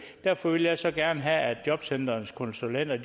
derfor vil jeg så gerne have at jobcentrenes konsulenter